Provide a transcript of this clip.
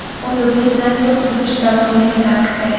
U zudlik bilan sulh tuzish zarurligi ta’kidlagan.